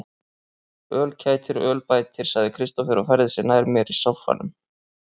Öl kætir, öl bætir, sagði Kristófer og færði sig nær mér í sóffanum.